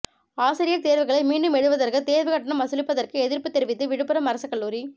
arrear தோ்வுகளை மீண்டும் எழுதுவதற்கு தோ்வுக் கட்டணம் வசூலிப்பதற்கு எதிா்ப்புத் தெரிவித்து விழுப்புரம் அரசுக் கல்லூரி